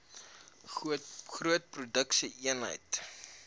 groot produksie eenhede